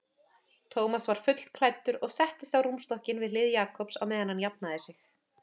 Thomas var fullklæddur og settist á rúmstokkinn við hlið Jakobs á meðan hann jafnaði sig.